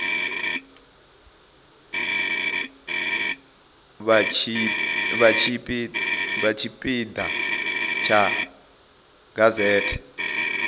vha tshipi ḓa tsha gazete